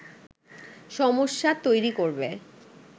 সমস্যা তৈরি করবে